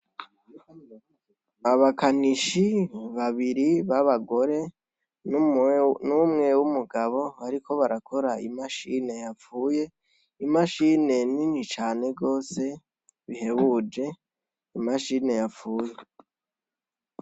Abakanishi babiri b'abagore n'umwe w'umugabo, ariko barakora imashine yapfuye imashine nini cane rwose bihebuje imashine yapfuyee.